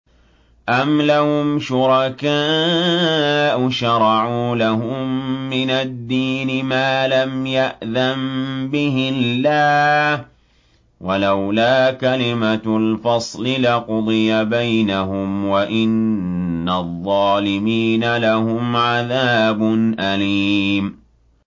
أَمْ لَهُمْ شُرَكَاءُ شَرَعُوا لَهُم مِّنَ الدِّينِ مَا لَمْ يَأْذَن بِهِ اللَّهُ ۚ وَلَوْلَا كَلِمَةُ الْفَصْلِ لَقُضِيَ بَيْنَهُمْ ۗ وَإِنَّ الظَّالِمِينَ لَهُمْ عَذَابٌ أَلِيمٌ